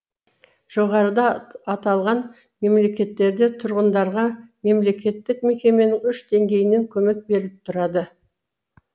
жоғарыда аталған мемлекеттерде тұрғындарға мемлекеттік мекеменің үш деңгейінен көмек беріліп тұрады